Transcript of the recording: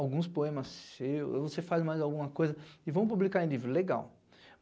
alguns poemas seus, e você faz mais alguma coisa e vão publicar em livro, legal.